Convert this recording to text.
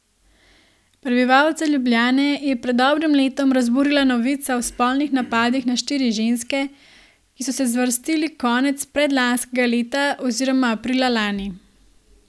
Prebivalce Ljubljane je pred dobrim letom razburila novica o spolnih napadih na štiri ženske, ki so se zvrstili konec predlanskega leta oziroma aprila lani.